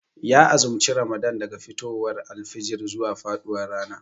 Ya azumci ramadan daga fitowar alfijir zuwa faduwar rana